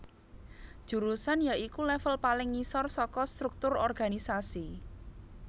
Jurusan ya iku level paling ngisor saka struktur organisasi